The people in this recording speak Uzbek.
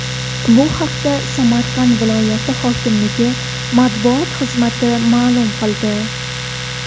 Bu haqda Samarqand viloyati hokimligi matbuot xizmati ma’lum qildi .